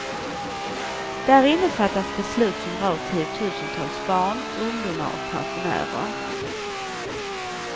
Därinne fattas beslut som rör tiotusentals barn, ungdomar och pensionärer.